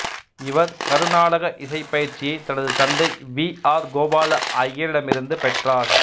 இவர் கருநாடக இசைப் பயிற்சியை தனது தந்தை வீ ஆர் கோபால ஐயரிடமிருந்து பெற்றார்